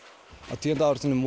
á tíunda áratugnum